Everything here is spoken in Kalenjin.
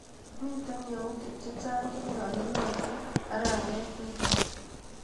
Miite yautik chechang chenyalunotin arawetap nito.